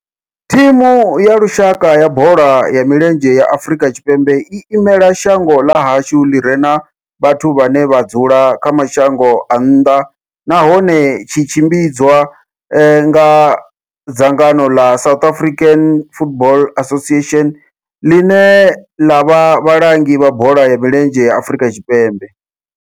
Thimu ya lushaka ya bola ya milenzhe ya Afrika Tshipembe i imela shango ḽa hashu ḽi re na vhathu vhane vha dzula kha mashango a nnḓa nahone tshi tshimbidzwa nga dzangano la South African Football Association, line la vha vhalangi vha bola ya milenzhe Afrika Tshipembe.